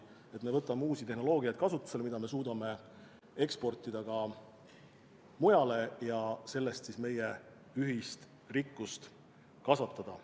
Me võtame kasutusele uusi tehnoloogiaid, mida me suudame eksportida ka mujale ja tänu sellele meie ühist rikkust kasvatada.